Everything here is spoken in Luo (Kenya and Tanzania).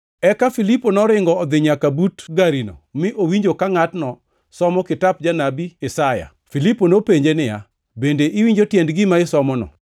Eka Filipo noringo odhi nyaka but garino mi owinjo ka ngʼatno somo kitap Janabi Isaya. Filipo nopenje niya, “Bende iwinjo tiend gima isomono?”